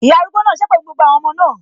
Ìyá arúgbó náà sépè fún gbogbo àwọn ọmọ náà